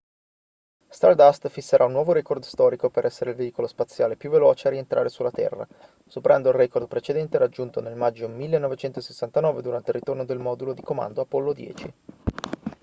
stardust fisserà un nuovo record storico per essere il veicolo spaziale più veloce a rientrare sulla terra superando il record precedente raggiunto nel maggio 1969 durante il ritorno del modulo di comando apollo 10